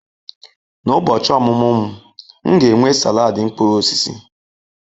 N'ụbochi ọmụmụ m, m ga-enwe salad mkpụrụ osisi.